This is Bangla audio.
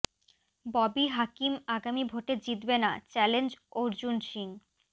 ববি হাকিম আগামী ভোটে জিতবে না চ্যালেঞ্জ অর্জুন সিং